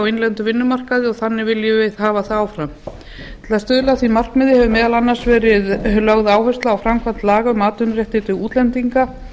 á innlendum vinnumarkaði og þannig viljum við hafa það áfram til að stuðla að því markmiði hefur meðal annars verið lögð áhersla á framkvæmd laga um atvinnuréttindi útlendinga